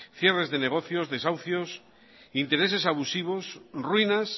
cierres de negocios desahucios intereses abusivos ruinas